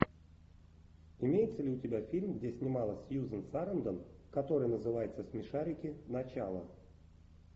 имеется ли у тебя фильм где снималась сьюзен сарандон который называется смешарики начало